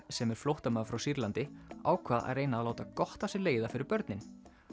sem er flóttamaður frá Sýrlandi ákvað að reyna að láta gott af sér leiða fyrir börnin